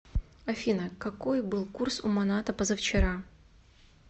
афина какой был курс у маната позавчера